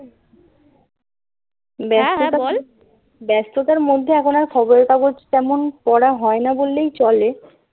ব্যস্ততার মধ্যে এখন আর খবরের কাগজ তেমন পড়া হয় না বললেই চলে